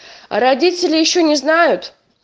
а родители ещё не знают